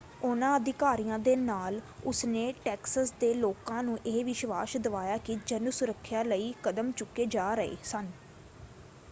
ਉਹਨਾਂ ਅਧਿਕਾਰੀਆਂ ਦੇ ਨਾਲ ਉਸਨੇ ਟੈਕਸਸ ਦੇ ਲੋਕਾਂ ਨੂੰ ਇਹ ਵਿਸ਼ਵਾਸ਼ ਦਵਾਇਆ ਕਿ ਜਨ ਸੁਰੱਖਿਆ ਲਈ ਕਦਮ ਚੁੱਕੇ ਜਾ ਰਹੇ ਸਨ।